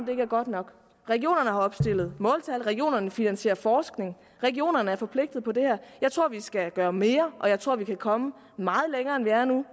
det ikke er godt nok regionerne har opstillet måltal regionerne finansierer forskning regionerne er forpligtet på det her jeg tror vi skal gøre mere og jeg tror vi kan komme meget længere end vi er nu